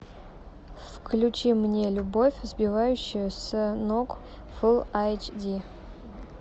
включи мне любовь сбивающая с ног фулл айч ди